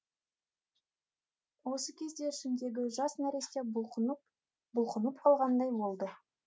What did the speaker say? осы кезде ішіндегі жас нәресте бұлқынып бұлқынып қалғандай болды